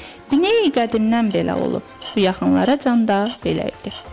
Bineyi qədimdən belə olub, bu yaxınlara can da belə idi.